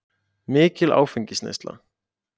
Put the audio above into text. Mikil áfengisneysla.